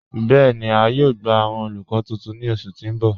Bẹẹni, à yóò gbà awọn olùkọ̀ tuntun ni ọṣù tí n bọ̀.